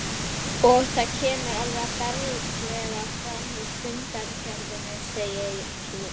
Og það kemur alveg berlega fram í fundargerðinni, segir mér